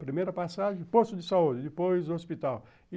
Primeira passagem, posto de saúde, depois hospital.